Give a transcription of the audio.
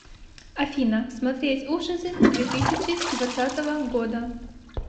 афина смотреть ужасы две тысячи двадцатого года